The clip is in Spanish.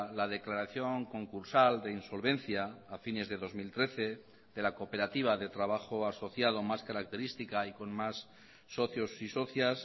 la declaración concursal de insolvencia a fines de dos mil trece de la cooperativa de trabajo asociado más característica y con más socios y socias